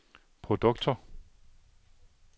produkter